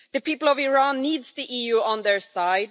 The people of Iran need the EU on their side.